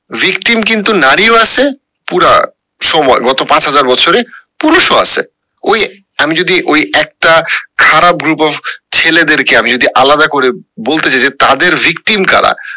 victim কিন্তু নারী ও আছে পুরান সময়ে গত পাঁচ হাজার বছরে পুরুষ ও আছে ওই আমি যদি ওই একটা খারাপ group of ছেলেদের কে আমি যদি আলাদা করে বলতে যাই যে তাদের victim কারা